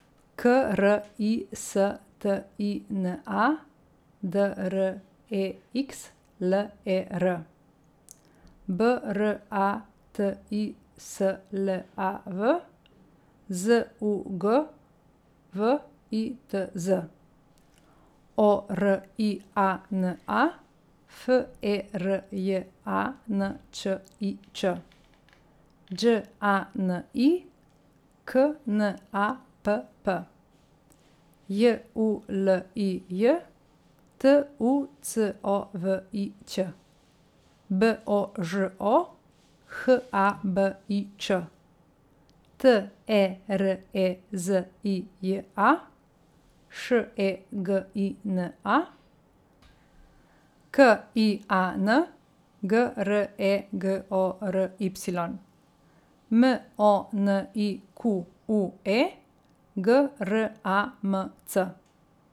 K R I S T I N A, D R E X L E R; B R A T I S L A V, Z U G W I T Z; O R I A N A, F E R J A N Č I Č; Đ A N I, K N A P P; J U L I J, T U C O V I Ć; B O Ž O, H A B I Č; T E R E Z I J A, Š E G I N A; K I A N, G R E G O R Y; M O N I Q U E, G R A M C.